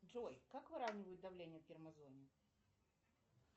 джой как выравнивают давление в термозоне